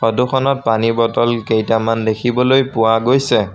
ফটোখনত পানী বটল কেইটামান দেখিবলৈ পোৱা গৈছে।